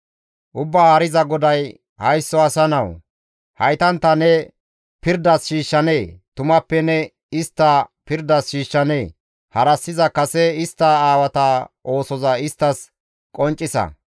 Ubbaa Haariza GODAY, «Haysso asa nawu! Haytantta ne pirdas shiishshanee? Tumappe ne istta pirdas shiishshanee? Harassiza kase istta aawata oosoza isttas qonccisa.